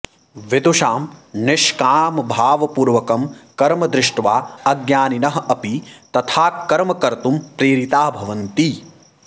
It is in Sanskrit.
विदुषां निष्कामभावपूर्वकं कर्म दृष्ट्वा अज्ञानिनः अपि तथा कर्म कर्तुं प्रेरिताः भवन्ति